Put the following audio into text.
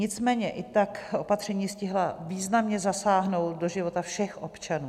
Nicméně i tak opatření stihla významně zasáhnout do života všech občanů.